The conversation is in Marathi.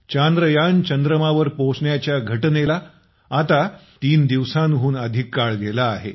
चांद्र यान चंद्रमावर पोहचण्याच्या घटनेस आता तीन दिवसांहून अधिक काळ गेला आहे